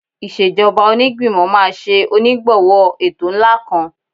Ìṣèjọba Onígbìmọ̀ máa ṣe onígbọ̀wọ́ ètò ńlá kan